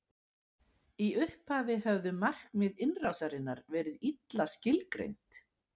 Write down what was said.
Í upphafi höfðu markmið innrásarinnar verið illa skilgreind.